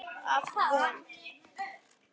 Af Von